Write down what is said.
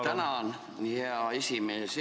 Tänan, hea esimees!